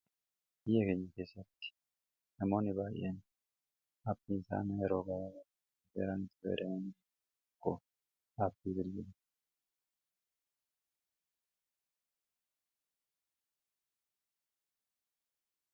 ii egaenya keessatti namooni baay'een abbiisaana yeroobaaa baran ci barayan ko daabbii bilyilu